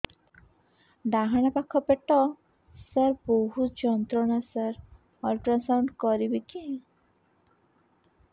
ଡାହାଣ ପାଖ ପେଟ ସାର ବହୁତ ଯନ୍ତ୍ରଣା ସାର ଅଲଟ୍ରାସାଉଣ୍ଡ କରିବି କି